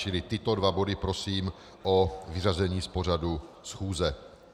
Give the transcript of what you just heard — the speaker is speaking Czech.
Čili tyto dva body, prosím o vyřazení z pořadu schůze.